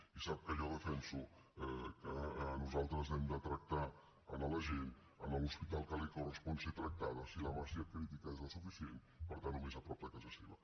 i sap que jo defenso que nosaltres hem de tractar la gent a l’hospital que li correspon ser tractada si la massa crítica és la suficient per tant al més a prop de casa seva